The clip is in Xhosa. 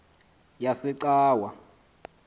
yasecawa